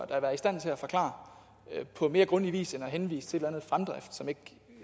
da være i stand til at forklare på mere grundig vis end ved at henvise til